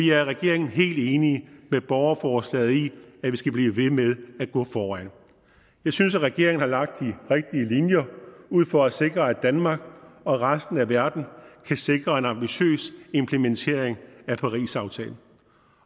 i regeringen helt enige med borgerforslaget i at vi skal blive ved med at gå foran jeg synes at regeringen har lagt de rigtig linjer ud for at sikre at danmark og resten af verden kan sikre en ambitiøs implementering af parisaftalen